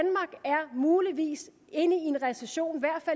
muligvis inde i en recession